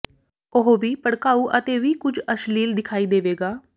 ਉਹ ਵੀ ਭੜਕਾਊ ਅਤੇ ਵੀ ਕੁਝ ਅਸ਼ਲੀਲ ਦਿਖਾਈ ਦੇਵੇਗਾ